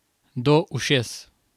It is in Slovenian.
Do ušes.